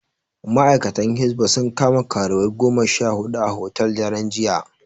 Ma'aikatan Hisba sun kama karuwai goma sha huɗu a hotel, daren jiya.